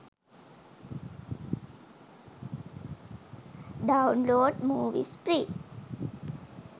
download movies free